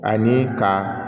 Ani ka